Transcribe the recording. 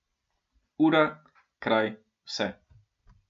Ura, kraj, vse.